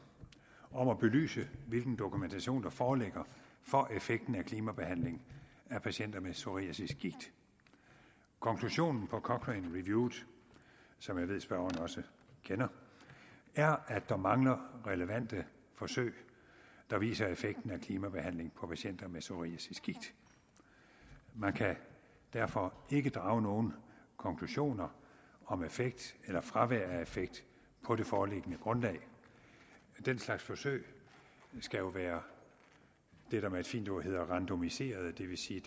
om at belyse hvilken dokumentation der foreligger for effekten af klimabehandling af patienter med psoriasisgigt konklusionen på cochranereviewet som jeg ved spørgeren også kender er at der mangler relevante forsøg der viser effekten af klimabehandling af patienter med psoriasisgigt man kan derfor ikke drage nogen konklusioner om effekt eller fravær af effekt på det foreliggende grundlag den slags forsøg skal jo være det der med et fint ord hedder randomiserede det vil sige